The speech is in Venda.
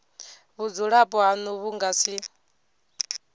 vhudzulapo hanu vhu nga si